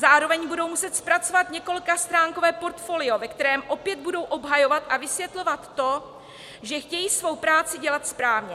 Zároveň budou muset zpracovat několikastránkové portfolio, ve kterém opět budou obhajovat a vysvětlovat to, že chtějí svoji práci dělat správně.